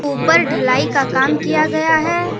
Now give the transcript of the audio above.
ऊपर ढलाई का काम किया गया है।